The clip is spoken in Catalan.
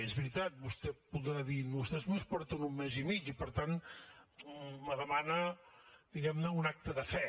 i és veritat vostè podrà dir vostès només porten un mes i mig i per tant me demana diguem ne un acte de fe